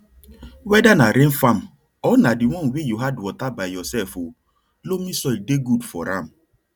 weda na rain farm or na the one way you add water by yourself o loamy soil dey good for am